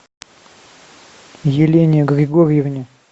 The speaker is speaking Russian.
елене григорьевне